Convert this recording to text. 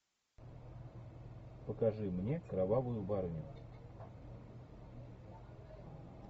покажи мне кровавую барыню